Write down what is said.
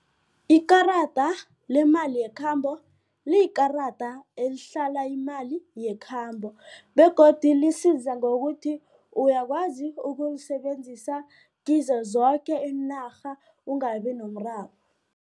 Ikarada lemali yekhambo liyikarada elihlala imali yekhambo begodu lisiza ngokuthi uyakwazi ukulisebenzisa kizo zoke iinarha ungabi nomraro.